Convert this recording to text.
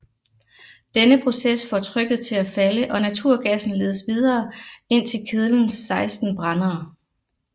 Denne proces får trykket til at falde og naturgassen ledes videre ind til kedlens 16 brændere